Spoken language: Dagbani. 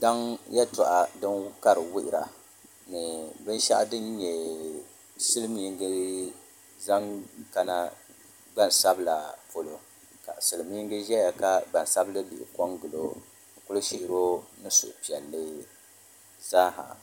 Daŋ yɛltɔɣa ka di wuhura ni binshaɣu din nyɛ silmiingi zaŋ kana gbansabila polo ka silmiingi ʒɛya ka gbansabili bihi ko n gilo n ku shihiro ni suhupiɛlli zaaha